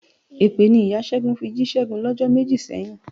Èpè ni ìya Ṣẹ́gun fi jí Ṣẹ́gun lọ́jọ́ méjì sẹ́yìn.